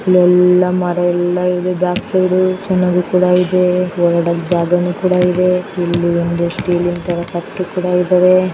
ಎಲ್ಲ ಮರಯೆಲ್ಲ ಇದೆ ಬ್ಯಾಕ್ ಸೈಡ್ ಮ್ರಿದೆ ಹೊರಡಕ್ಕೆ ಜಾಗ ಇದೆ ಇಲ್ಲಿ ಎರಡು ಸ್ಟ್ಯಾಚು ಇದೆ .